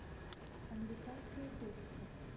американская готика